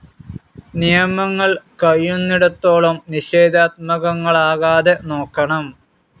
നിയമങ്ങൾ കഴിയുന്നിടത്തോളം നിഷേധാത്മകങ്ങളാകാതെ നോക്കണം.